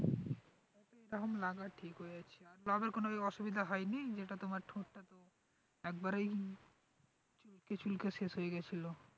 এখন লাগা ঠিক হয়েছে তো other কোন ওই অসুবিধা হয়নি যেটা তোমার ঠোঁটটা একবারেই চুলকে চুলকে শেষ হয়ে গিয়েছিল,